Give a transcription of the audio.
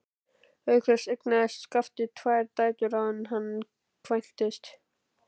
Auk þess eignaðist Skafti tvær dætur áður en hann kvæntist.